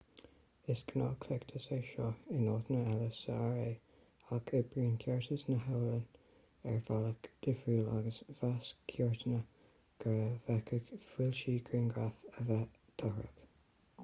is gnáthchleachtas é seo in áiteanna eile sa ra ach oibríonn ceartas na halban ar bhealach difriúil agus mheas cúirteanna go bhféadfadh foilsiú grianghraf a bheith dochrach